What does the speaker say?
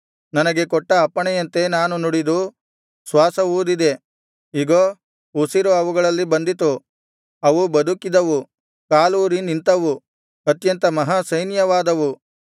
ನನಗೆ ಕೊಟ್ಟ ಅಪ್ಪಣೆಯಂತೆ ನಾನು ನುಡಿದು ಶ್ವಾಸ ಊದಿದೆ ಇಗೋ ಉಸಿರು ಅವುಗಳಲ್ಲಿ ಬಂದಿತು ಅವು ಬದುಕಿದವು ಕಾಲೂರಿ ನಿಂತವು ಅತ್ಯಂತ ಮಹಾ ಸೈನ್ಯವಾದವು